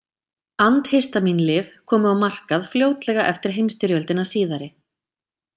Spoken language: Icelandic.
Andhistamín-lyf komu á markað fljótlega eftir heimsstyrjöldina síðari.